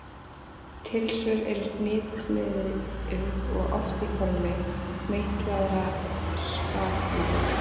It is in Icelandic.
Tilsvör eru hnitmiðuð og oft í formi meitlaðra spakmæla.